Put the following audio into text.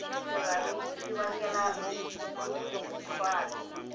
xirhami xi vangela mukhuhlwani